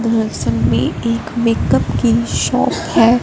एक मेकअप की शॉप हैं।